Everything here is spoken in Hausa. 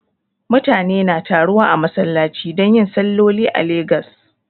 Mutane na taruwa a masallachi don yin salloli a Lagos